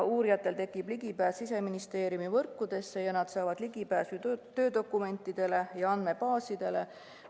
Uurijatel tekib juurdepääs Siseministeeriumi võrkudesse ja nad saavad ligi töödokumentidele ja andmebaasidele.